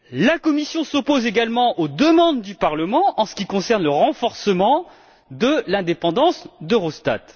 La Commission s'oppose également à la présence de deux membres du Parlement en ce qui concerne le renforcement de l'indépendance d'Eurostat.